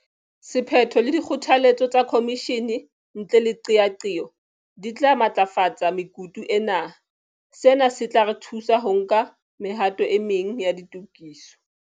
Sephetho le dikgotha letso tsa khomishene ntle le qeaqeo di tla matlafatsa mekutu ena. Sena se tla re thusa ho nka mehato e meng ya ditokiso.